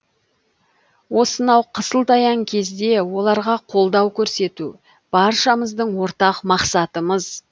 осынау қысылтаяң кезде оларға қолдау көрсету баршамыздың ортақ мақсатымыз